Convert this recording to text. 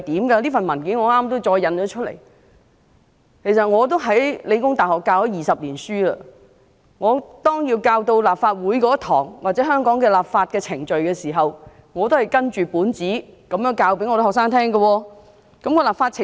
其實我在香港理工大學已任教20年，每當教授有關立法會或香港立法程序的課堂時，我都是依據這份文件教導學生有何立法程序。